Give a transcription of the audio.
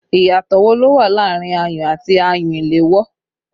Ìyàtọ̀ wo ló wà láàrin ayùn àti ayùn ìléwọ́?